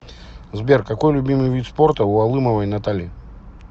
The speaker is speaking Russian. сбер какой любимый вид спорта у алымовой натальи